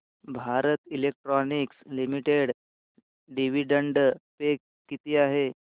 Bharat electronics limited dividend pay किती आहे